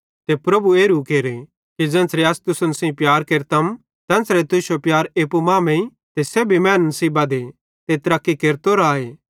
ते प्रभु एरू केरे कि ज़ेन्च़रे अस तुसन सेइं प्यार केरतम तेन्च़रे तुश्शो प्यार एप्पू मांमेइं ते सेब्भी मैनन् सेइं बधे ते तरक्की केरतो राए